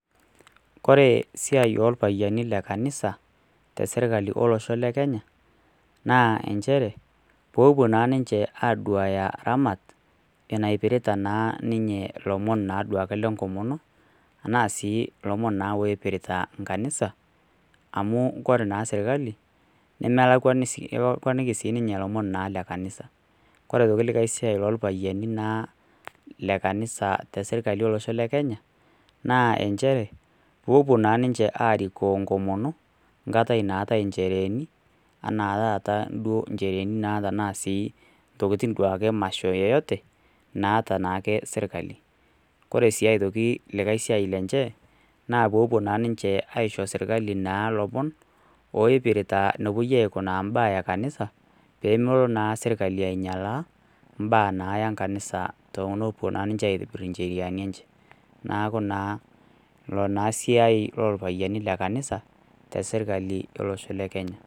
Ore esiai oo orpayiani lee kanisa tee sirkali olosho lee Kenya naa njeere pee epuo naa ninje aduaya ramat napirta elomon lee nkomono enaa sii elomon oipirta kanisa amu ore naa sirkali nemepon ninye elomon oipirta kanisa ore aitoki likae siai naipirta irpayiani lee kanisa tee sirkali olosho lee Kenya naa njere pee epuo ninje arikok enkomono enkata naatai njereheni enaa taata njerehi emasho duake yoyote naata naake ninye sirkali ore aitoki esiai enye naa peepuo aishi sirkali naa loomon oipirta enikunari mbaa ee kanisa pee melo naa sirkali ainyialaa mbaa naa kanisa tenepuo ninje aitobir njeriani enye neeku naa eloo naa esiai orpayiani lee kanisa tee sirkali olosho lee kenya